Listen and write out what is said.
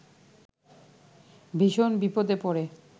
ভীষণ বিপদে পড়ে